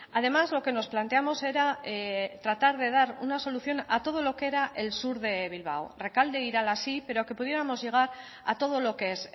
además lo que nos planteamos era tratar de dar una solución a todo lo que era el sur de bilbao recalde irala sí pero que pudiéramos llegar a todo lo que es